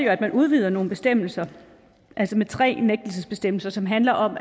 er at man udvider nogle bestemmelser altså med tre nægtelsesbestemmelser som handler om